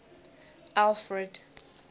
alfred